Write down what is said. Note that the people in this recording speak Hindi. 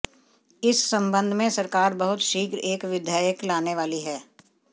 इस संबंध में सरकार बहुत शीघ्र एक विधेयक लाने वाली है